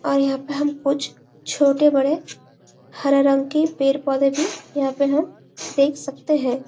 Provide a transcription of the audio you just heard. और यहाँ पे हम कुछ छोटे बड़े हरे रंग की पेड़ पोधे भी यहाँ पे हम देख सकते है।